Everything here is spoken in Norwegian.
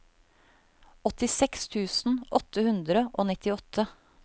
åttiseks tusen åtte hundre og nittiåtte